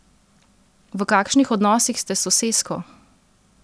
V kakšnih odnosih ste s sosesko?